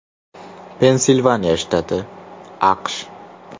Pensilvaniya shtati, AQSh.